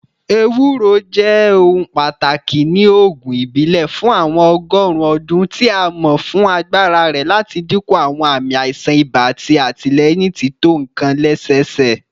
Ewuro jẹ ohun pataki ni oogun ibile fun awọn ọgọrun ọdun, ti a mọ fun agbara rẹ lati dinku awọn aami aisan iba ati atilẹyin tito nkan lẹsẹsẹ.